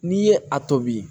N'i ye a tobi